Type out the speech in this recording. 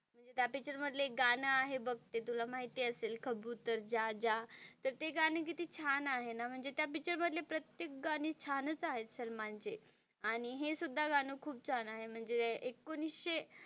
म्हणजे त्या पिक्चर मधलं एक गाणं आहे बघ ते तुला माहिती असेल कबुतर जा जा तर ते गाणं किती छान आहे ना म्हणजे त्या पिक्चर मधले प्रत्येक गाणी छान च आहेत सलमान चे आणि हे सुद्धा गाणं खूप छान आहे म्हणजे एकोणवीसशे,